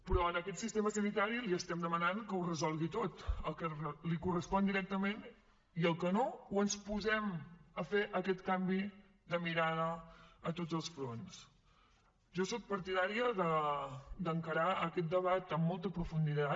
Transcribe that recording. però a aquest sistema sanitari li estem demanant que ho resolgui tot el que li correspon directament i el que no o ens posem a fer aquest canvi de mirada a tots els fronts jo soc partidària d’encarar aquest debat amb molta profunditat